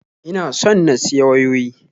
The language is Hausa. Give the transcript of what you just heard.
Ina son na siya wayoyi